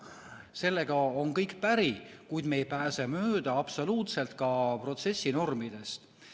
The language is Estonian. Sellega on kõik päri, kuid me ei pääse mööda absoluutselt ka protsessinormidest.